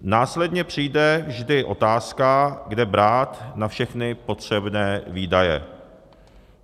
Následně přijde vždy otázka, kde brát na všechny potřebné výdaje.